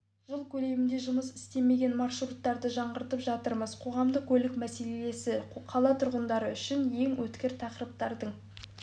жыл көлемінде жұмыс істемеген маршруттарды жаңғыртып жатырмыз қоғамдық көлік мәселесі қала тұрғындары үшін ең өткір тақырыптардың